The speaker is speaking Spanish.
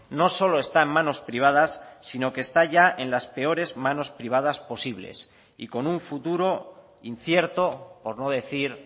no solo está en manos privadas sino que está ya en las peores manos privadas posibles y con un futuro incierto por no decir